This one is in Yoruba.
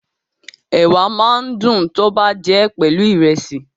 Ẹ̀wà máa ń dùn tọ́ bá jẹ́ pelu Ìrẹ́sì